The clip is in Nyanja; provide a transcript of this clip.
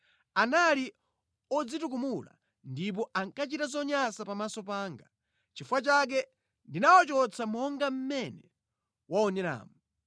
Anali odzitukumula ndipo ankachita zonyansa pamaso panga. Nʼchifukwa chake ndinawachotsa monga mmene waoneramu.